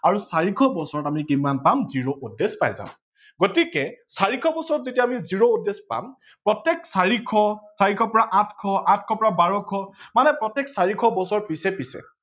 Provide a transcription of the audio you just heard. আৰু চাৰিশ বছৰত আমি কিমান পাম zero odd days পাই যাম গতিকে চাতিশ বছৰত যেতিয়া আমি zero পাম প্ৰতেক চাতিশ, চাৰিশ পৰা আঠশ, আঠশ পৰা বাৰশ মানে প্ৰতেক চাৰিশ বছৰ পিছে পিছে